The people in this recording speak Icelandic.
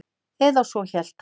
Eða svo hélt hann.